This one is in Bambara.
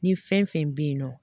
Ni fɛn fɛn bɛ yen nɔ